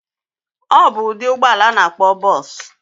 Obu udi ụgbọla ana akpo bus.